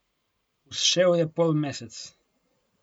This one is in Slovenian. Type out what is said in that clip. Vzšel je polmesec.